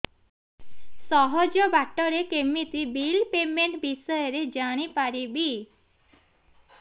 ସହଜ ବାଟ ରେ କେମିତି ବିଲ୍ ପେମେଣ୍ଟ ବିଷୟ ରେ ଜାଣି ପାରିବି